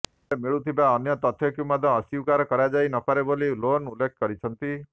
ହେଲେ ମିଳୁଥିବା ଅନ୍ୟ ତଥ୍ୟକୁ ମଧ୍ୟ ଅସ୍ୱୀକାର କରାଯାଇ ନ ପାରେ ବୋଲି ଲୋନ୍ ଉଲ୍ଲେଖ କରିଛନ୍ତି